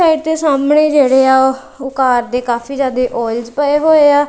ਔਰ ਇੱਥੇ ਸਾਹਮਣੇ ਜਿਹਦੇ ਆ ਓਹ ਕਾਰ ਦੇ ਕਾਫੀ ਜਿਆਦੇ ਆਇਲਸ ਪਏ ਹੋਏਆ।